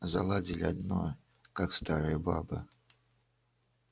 заладили одно как старая баба